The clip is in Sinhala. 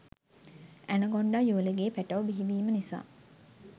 ඇනකොන්ඩා යුවළගේ පැටව් බිහි වීම නිසා